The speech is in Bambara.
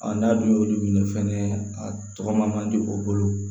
n'a dun y'olu minɛ fɛnɛ a tɔgɔ ma di u bolo